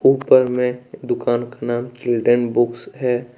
ऊपर में दुकान का नाम चिल्ड्रेन बुक्स है।